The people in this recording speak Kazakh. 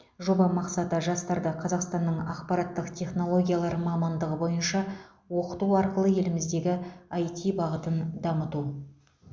жоба мақсаты жастарды қазақстанның ақпараттық технологиялар мамандығы бойынша оқыту арқылы еліміздегі іт бағытын дамыту